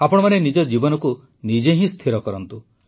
ଆପଣମାନେ ନିଜ ଜୀବନକୁ ନିଜେ ହିଁ ସ୍ଥିର କରନ୍ତୁ